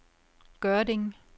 Gørding